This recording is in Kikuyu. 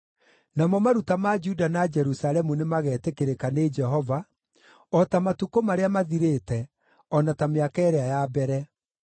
namo maruta ma Juda na Jerusalemu nĩmagetĩkĩrĩka nĩ Jehova, o ta matukũ marĩa mathirĩte, o na ta mĩaka ĩrĩa ya mbere.